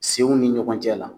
Senw ni ɲɔgɔn cɛ la.